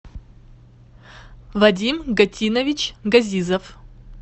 вадим гатинович газизов